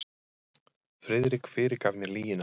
Friðrik fyrirgaf mér lygina.